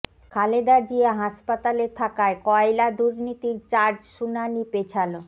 খালেদা জিয়া হাসপাতালে থাকায় কয়লা দুর্নীতির চার্জ শুনানি পেছাল